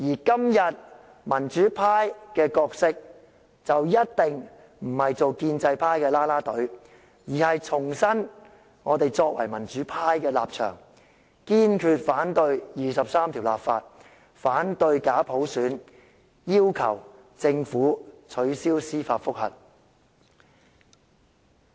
今日民主派的角色一定不是做建制派的"啦啦隊"，而是要重申我們作為民主派的立場，堅決反對就第二十三條立法、反對假普選，以及要求政府撤銷司法覆核。